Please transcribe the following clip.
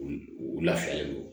U u lafiyalen don